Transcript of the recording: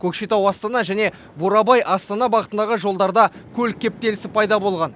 көкшетау астана және бурабай астана бағытындағы жолдарда көлік кептелісі пайда болған